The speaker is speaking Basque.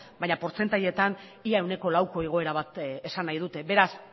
baina portzentailetan ia ehuneko lauko igoera bat esan nahi dute beraz